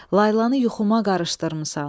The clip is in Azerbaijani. Laylanı yuxuma qarışdırmısan.